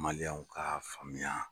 Maliɲɛnw k'a faamuya.